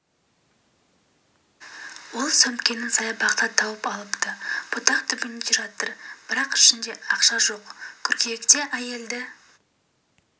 ол сөмкені саябақта тауып алыпты бұтақ түбінде жатыр екен бірақ ішінде ақша жоқ қыркүйекте әйелді